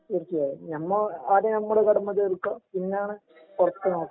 തീർച്ചയായും ഞമ്മ ആദ്യം ഞമ്മടെ കടമ തീർക്കാ പിന്നാണ് പൊറത്ത്